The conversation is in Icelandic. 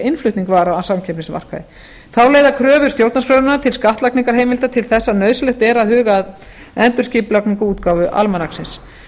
innflutning vara á samkeppnismarkaði þá leiða kröfur stjórnarskrárinnar um skattlagningarheimildir til þess að nauðsynlegt er að huga að endurskipulagningu á útgáfu almanaksins